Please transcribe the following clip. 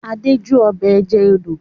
Adé jó ọbẹ̀ ẹja odò.